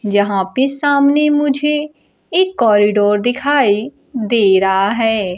जहां पे सामने मुझे एक कॉरिडोर दिखाई दे रहा है।